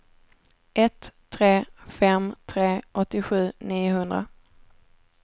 ett tre fem tre åttiosju niohundra